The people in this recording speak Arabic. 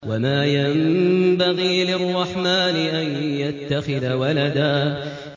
وَمَا يَنبَغِي لِلرَّحْمَٰنِ أَن يَتَّخِذَ وَلَدًا